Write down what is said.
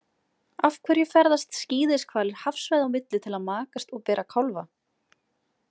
Af hverju ferðast skíðishvalir hafsvæða á milli til að makast og bera kálfa?